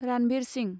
Ranbir Singh